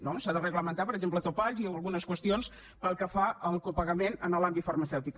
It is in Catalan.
no s’ha de reglamentar per exemple topalls i algunes qüestions pel que fa al copagament en l’àmbit farmacèutic